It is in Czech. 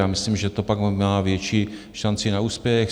Já myslím, že to pak má větší šanci na úspěch.